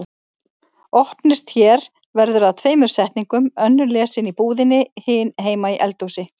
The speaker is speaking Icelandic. Opnist hér verður að tveimur setningum, önnur lesin í búðinni, hin heima í eldhúsi.